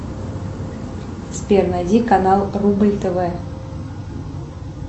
сбер найди канал рубль тв